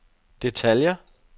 detaljer